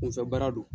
Kunfɛ baara don